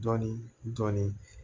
Dɔɔnin dɔɔnin